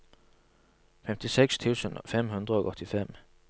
femtiseks tusen fem hundre og åttifem